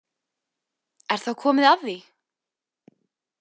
Er þá komið að því?